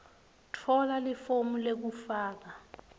tfola lifomu lekufaka